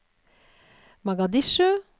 Mogadishu